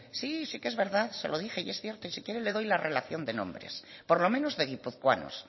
sí sí que es verdad se lo dije y es cierto y si quiere le doy la relación de nombres por lo menos de guipuzcoanos